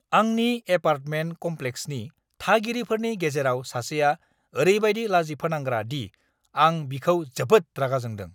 आंनि एपार्टमेन्ट कम्प्लेक्सनि थागिरिफोरनि गेजेराव सासेया ओरैबायदि लाजिफोनांग्रा दि आं बिखौ जोबोद रागा जोंदों!